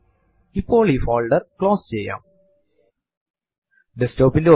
എന്തുതന്നെ നമ്മൾ ടൈപ്പ് ചെയ്താലും അതു file ൽ എഴുതപ്പെടും